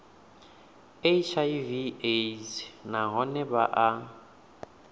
hiv aids nahone vha a